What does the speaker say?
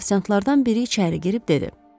Ofisiantlardan biri içəri girib dedi: